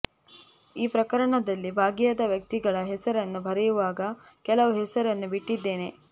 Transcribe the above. ಈ ಪ್ರಕರಣದಲ್ಲಿ ಭಾಗಿಯಾದ ವ್ಯಕ್ತಿಗಳ ಹೆಸರನ್ನು ಬರೆಯುವಾಗ ಕೆಲವು ಹೆಸರನ್ನು ಬಿಟ್ಟಿದ್ದೇನೆ